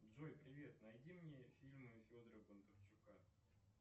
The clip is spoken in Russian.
джой привет найди мне фильмы федора бондарчука